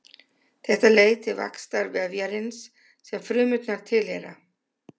Þetta leiðir til vaxtar vefjarins sem frumurnar tilheyra.